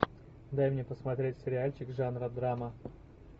дай мне посмотреть сериальчик жанра драма